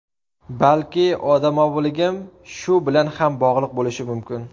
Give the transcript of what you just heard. Balki odamoviligim shu bilan ham bog‘liq bo‘lishi mumkin.